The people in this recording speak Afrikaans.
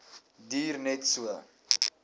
duur net so